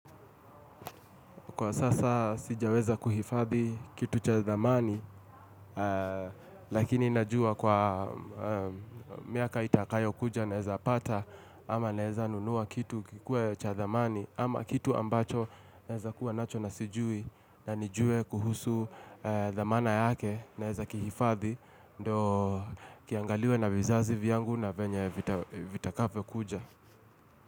Kwa sasa sijaweza kuhifadhi kitu cha dhamani Lakini najua kwa miaka itakayo kuja naeza pata ama naeza nunua kitu kikuwe cha dhamani ama kitu ambacho naeza kuwa nacho na sijui na nijue kuhusu dhamana yake naeza kihifadhi ndo kiangaliwe na vizazi viyangu na venye vitakavyo kuja.